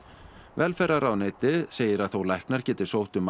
velferðarráðuneytið segir að þó að læknar geti sótt um